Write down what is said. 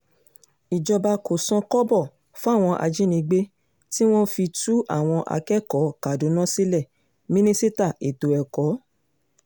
ìjọba kò san kọ́bọ̀ fáwọn ajínigbé tí wọ́n fi tú àwọn akẹ́kọ̀ọ́ kaduna sílẹ̀ mínísítà ètò ẹ̀kọ́